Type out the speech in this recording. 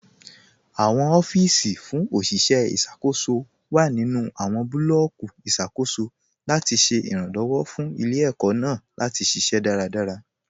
Awọn ọfiisi fún oṣiṣẹ iṣakoso wa nínu awọn bulọọki iṣakoso latí ṣẹ iranlọwọ fún ilẹ̀-ẹkó̀ naà latí ṣiṣẹ̀ daradara.